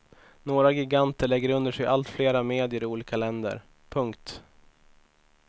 Några giganter lägger under sig allt flera medier i olika länder. punkt